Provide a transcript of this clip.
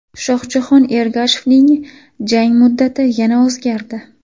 Shohjahon Ergashevning jangi muddati yana o‘zgardi.